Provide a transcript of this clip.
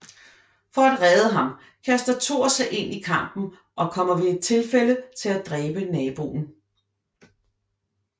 For at redde ham kaster Thor sig ind i kampen og kommer ved et tilfælde til at dræbe naboen